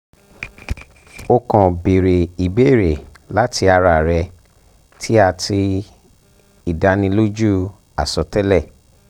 o kan beere ibeere lati ara rẹ ti a ti idaniloju asọtẹlẹ